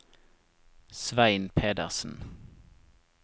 Svein Pedersen